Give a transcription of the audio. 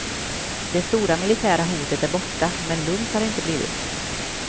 Det stora militära hotet är borta, men lugnt har det inte blivit.